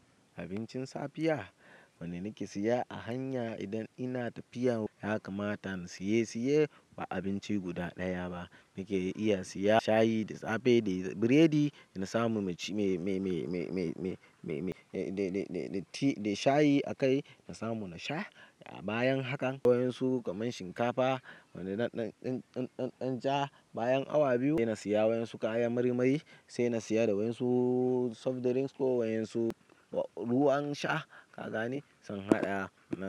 Abincin safiya wane nake siya a hanya idan ina tafiya ya kamata na siye siye ba abinci guda ɗaya ba. Nake iya siya shayi da safe da biredi, na samu mai ci mai mai mai mai mai mai mai mai dai dai dai dai tea dai shayi a kai na samu na sha. A bayan hakan wayan su kaman shinkafa wanda na ɗan ɗan ɗan ɗan ja bayan awa biyu sai na siya wayan su kayan marimai sai na siya da wayan su soft drinks ko wayan su ruwan sha. Ka gane? Sai in haɗa.